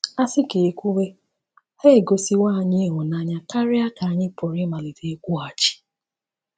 A sị ka e e kwuwe, ha egosiwo anyị ịhụnanya karịa ka anyị pụrụ ịmalite ịkwụghachi.